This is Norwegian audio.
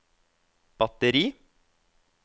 batteri